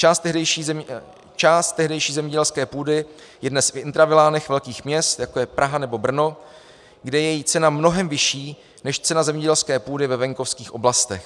Část tehdejší zemědělské půdy je dnes v intravilánech velkých měst, jako je Praha nebo Brno, kde je její cena mnohem vyšší než cena zemědělské půdy ve venkovských oblastech.